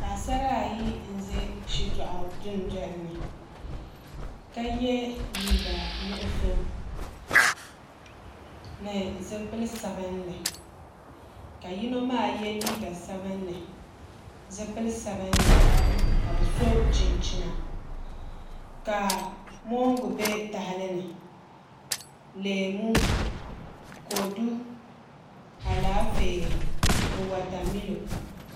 Paɣasara ayi n ʒɛ shitoɣu dundoli ni ka yɛ liiga nuɣso ni zipili sabinli ka yino maa yɛ liiga sabinli zipili sabinli ka bi so chinchina ka mongu bɛ tahali ni leemu kodu Alaafee ni wotamilo